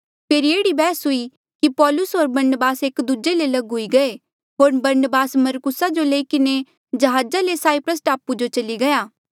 फेरी एह्ड़ी बैहस हुई कि पौलूस होर बरनबास एक दूजे ले लग हुई गये होर बरनबास मरकुसा जो लई किन्हें जहाजा ले साईप्रस टापू जो चली गया